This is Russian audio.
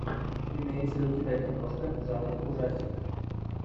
имеется ли у тебя киношка жанр ужастик